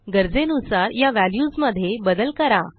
गरजेनुसार या व्हॅल्यूजमध्ये बदल करा